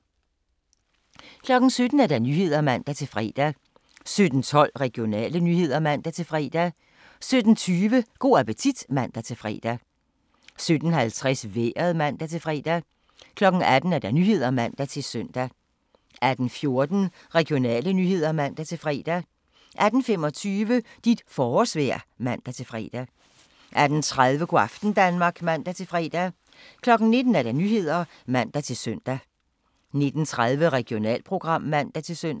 17:00: Nyhederne (man-fre) 17:12: Regionale nyheder (man-fre) 17:20: Go' appetit (man-fre) 17:50: Vejret (man-fre) 18:00: Nyhederne (man-søn) 18:14: Regionale nyheder (man-fre) 18:25: Dit forårsvejr (man-fre) 18:30: Go' aften Danmark (man-fre) 19:00: Nyhederne (man-søn) 19:30: Regionalprogram (man-søn)